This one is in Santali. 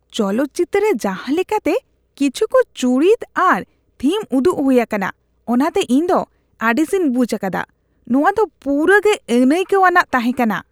ᱪᱚᱞᱚᱛ ᱪᱤᱛᱟᱹᱨ ᱨᱮ ᱡᱟᱦᱟᱸ ᱞᱮᱠᱟᱛᱮ ᱠᱤᱪᱷᱩᱠ ᱪᱩᱨᱤᱛ ᱟᱨ ᱛᱷᱤᱢ ᱩᱫᱩᱜ ᱦᱩᱭ ᱟᱠᱟᱱᱟ ᱚᱱᱟᱛᱮ ᱤᱧ ᱫᱚ ᱟᱹᱲᱤᱥᱤᱧ ᱵᱩᱡᱷ ᱟᱠᱟᱫᱟ ᱾ ᱱᱚᱣᱟ ᱫᱚ ᱯᱩᱨᱟᱹ ᱜᱮ ᱟᱹᱱᱟᱹᱭᱠᱟᱹᱣᱟᱱᱟᱜ ᱛᱟᱦᱮᱠᱟᱱᱟ ᱾